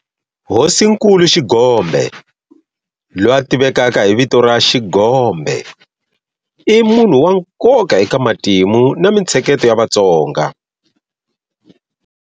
Hosinkulu Xigombe, loyi a tivekaka hi vito ra Shigombe, i munhu wa nkoka eka matimu na mintsheketo ya Vatsonga.